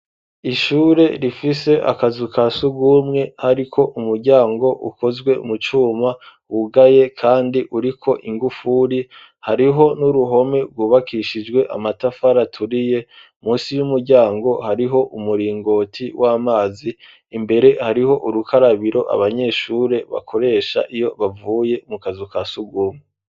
Ishure rifise akazu ka sugumwe hariko umuryango ukozwe mu cuma wugaye kandi uriko ingufuri hariho n'uruhome rwubakishijwe amatafari aturiye munsi y'umuryango hariho umuringoti w'amazi imbere hariho urukarabiro abanyeshure bakoresha iyo bavuye mu kazu ka sugumwe